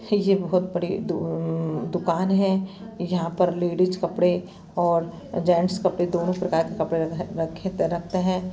ये बहुत बड़ी दु दुकान है यहा पर लेडीज कपड़े और जेंट्स कपडे दोनों प्रकार के कपड़े र रख रखते है।